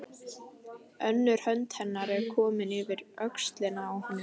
Önnur hönd hennar er komin yfir öxlina á honum.